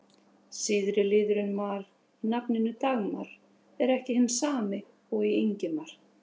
Síðari liðurinn-mar í nafninu Dagmar er ekki hinn sami og í Ingimar.